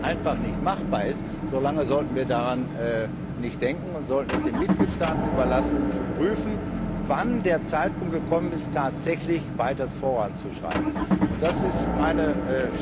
einfach nicht machbar ist, so lange sollten wir daran nicht denken und sollten es den Mitgliedstaaten überlassen zu prüfen, wann der Zeitpunkt gekommen ist, tatsächlich weiter voranzuschreiten, und das ist meine Stellungnahme.